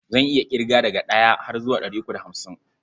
Zan iya ƙirga daga ɗaya har zuwa ɗari uku da hamsin.